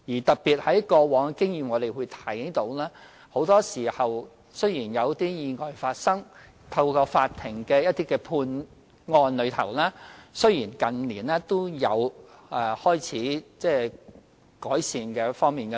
從過往經驗所見，很多時候，在意外發生後，透過法庭的判案，判刑情況在近年開始有改善。